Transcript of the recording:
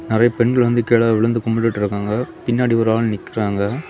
நிறைய பெண்கள் கீழ விழுந்து கும்பிட்டு இருக்காங்க பின்னாடி ஒரு ஆண் நிக்கிறாங்க.